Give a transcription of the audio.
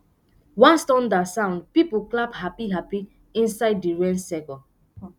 once thunder sound people clap happy happy inside the rain circle